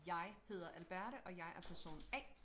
Jeg hedder Alberte og jeg er person A